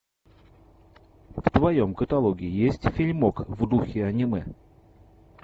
в твоем каталоге есть фильмок в духе аниме